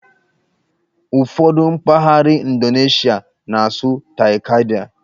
Ụfọdụ mpaghara Indoneshịa na-asụ '"Tai-Kadai".